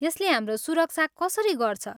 यसले हाम्रो सुरक्षा कसरी गर्छ?